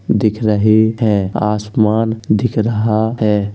दिख रहे हैंआसमान दिख रहा है।